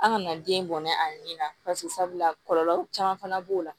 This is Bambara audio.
An kana den bɔnɛ a ɲinini na pase sabula kɔlɔlɔw caman fana b'o la